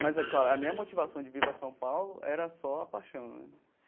Mas, é claro, a minha motivação de vir para São Paulo era só a paixão né.